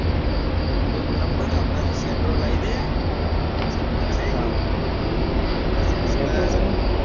તો એક કામ કર ને santro લાવી દે